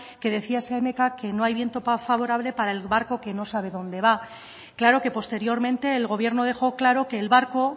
que decía séneca que no hay viento favorable para el barco que no sabe dónde va claro que posteriormente el gobierno dejó claro que el barco